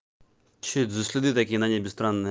что это за следы такие на небе странные